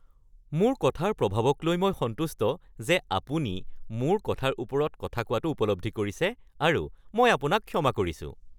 মোৰ কথাৰ প্ৰভাৱক লৈ মই সন্তুষ্ট যে আপুনি মোৰ কথাৰ ওপৰত কথা কোৱাটো উপলব্ধি কৰিছে আৰু মই আপোনাক ক্ষমা কৰিছোঁ।